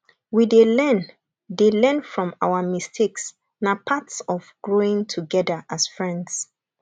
we dey learn dey learn from our mistakes na part of growing together as friends